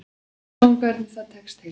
Sjáum hvernig það tekst til.